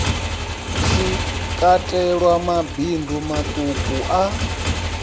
shi katelwa mabindu maṱuku a